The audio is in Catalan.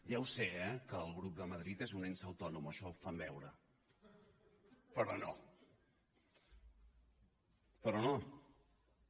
ja ho sé eh que el grup de madrid és un ens autònom o això fan veure però no però no